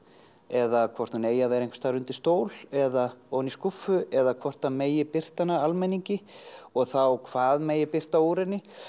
eða hvort hún eigi að vera einhvers staðar undir stól eða ofan í skúffu eða hvort það megi birta hana almenningi og þá hvað megi birta úr henni